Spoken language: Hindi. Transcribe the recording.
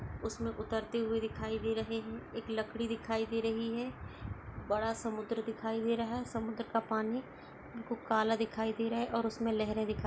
उसमें उतरते हुए दिखाई दे रहे हैं। एक लकड़ी दिखाई दे रही है। बड़ा समुद्र दिखाई दे रहा है। समुद्र का पानी बिल्कुल काला दिखाई दे रहा है और लहरे दिखाई --